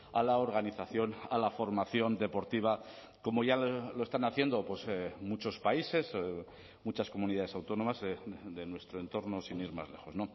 a la organización a la formación deportiva como ya lo están haciendo muchos países muchas comunidades autónomas de nuestro entorno sin ir más lejos